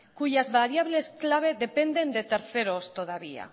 cuyas variables clave dependen de terceras todavía